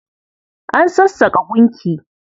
An sassaƙa gunki.